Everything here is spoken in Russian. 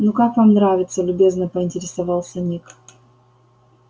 ну как вам нравится любезно поинтересовался ник